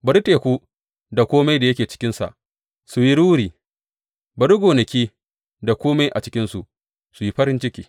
Bari teku da kome da yake cikinsa su yi ruri; bari gonaki da kome a cikinsu su yi farin ciki!